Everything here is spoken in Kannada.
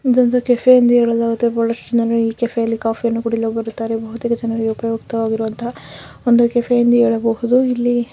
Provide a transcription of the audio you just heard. ಇದೊಂದು ಕೆಫೆ ಎಂದು ಹೇಳಲಾಗುತ್ತದೆ ಈ ಕೆಫೆಯಲ್ಲಿ ಕಾಫಿ ಕುಡಿಯಲು ಹೋಗುತ್ತಾರೆ ಜನರು ಒಂದು ಕೆಫೆ ಎಂದು ಹೇಳಬಹುದು.